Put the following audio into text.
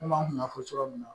Komi an kun y'a fɔ cogo min na